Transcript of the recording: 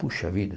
Puxa vida.